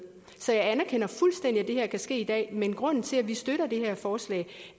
så jeg anerkender fuldstændig at det her kan ske i dag men grunden til at vi støtter det her forslag